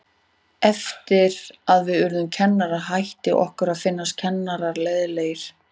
Eftir að við urðum kennarar hætti okkur að finnast kennararnir leiðinlegir.